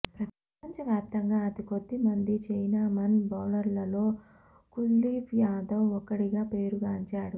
ప్రపం చవ్యాప్తంగా అతికొద్ది మంది చైనామన్ బౌలర్లలో కుల్దీప్ యాదవ్ ఒక్కడిగా పేరు గాంచాడు